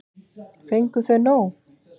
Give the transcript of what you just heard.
Fengu þau nóg?